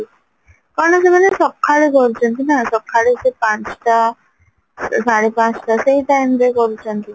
କଣ ସେମାନେ ସଖାଳୁ କରୁଚନ୍ତି ନାଁ ସଖାଳୁ ସେଇ ପାଞ୍ଚଟା ସାଢେ ପାଞ୍ଚଟା ସେଇ timeରେ କରୁଚନ୍ତି